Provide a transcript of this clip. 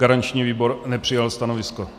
Garanční výbor nepřijal stanovisko.